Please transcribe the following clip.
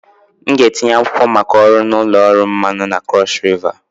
M ga-etinye akwụkwọ maka ọrụ na ụlọ ọrụ mmanụ na Cross river